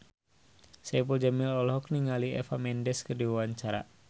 Saipul Jamil olohok ningali Eva Mendes keur diwawancara